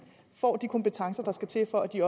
får de kompetencer der skal til for at de